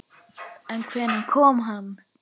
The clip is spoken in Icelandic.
En hvenær kom hann?